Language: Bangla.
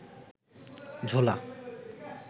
ঝোলা